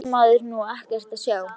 Þá fær maður nú ekkert að sjá!!